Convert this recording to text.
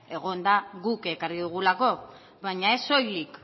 egon da guk ekarri dugulako baina ez soilik